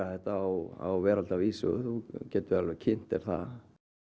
þetta á veraldarvísu þú getur kynnt þér það